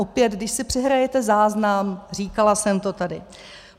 Opět, když si přehrajete záznam, říkala jsem to tady.